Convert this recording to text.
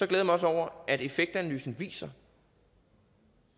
jeg mig også over at effektanalysen viser